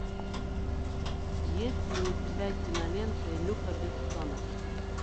есть ли у тебя кинолента люка бессона